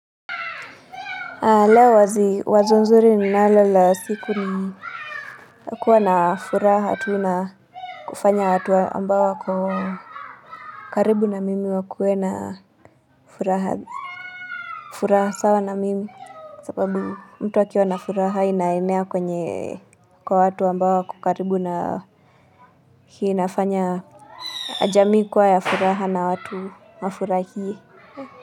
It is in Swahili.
La wazi wazo nzuri ninalo la siku ni kuwa na furaha tu na kufanya watu ambao wako karibu na mimi wakuwe na furaha furaha sawa na mimi sababu mtu akiwa na furaha inaenea kwenye kwa watu ambao wako kukaribu na hii inafanya jamii kuwa ya furaha na watu wafurahie.